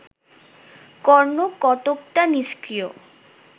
কর্ণ কতকটা নিস্ক্রিয়